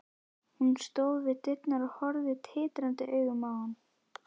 Hún stóð við dyrnar og horfði tindrandi augum á hann.